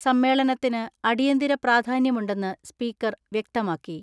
സമ്മേളനത്തിന് അടിയന്തിര പ്രാധാന്യമുണ്ടെന്ന് സ്പീക്കർ വ്യക്തമാക്കി.